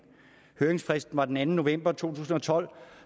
høringsfristen var den anden november to tusind og tolv